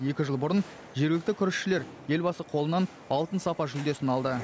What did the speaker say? екі жыл бұрын жергілікті күрішшілер елбасы қолынан алтын сапа жүлдесін алды